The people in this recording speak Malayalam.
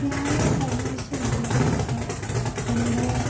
ഞാൻ കഴിഞ്ഞാഴ്ച വീട്ടില് പോയപ്പോ എൻറെ